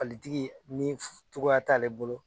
Palitigi ni f togoya t'aale bolo